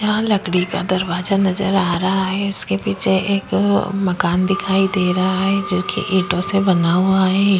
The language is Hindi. यहाँ लकडी का दरवाजा नजर आ रहा है उसके पीछे एक मकान दिखाई दे रहा है जो कि ईटोँ से बना हुवा है।